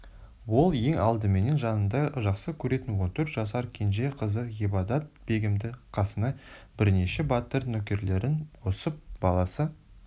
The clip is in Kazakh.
ол ең алдыменен жанындай жақсы көретін он төрт жасар кенже қызы ғибадат-бегімді қасына бірнеше батыр нөкерлерін қосып баласы